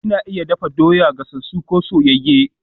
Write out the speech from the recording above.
Ana iya dafa doya, gasasu ko soyayye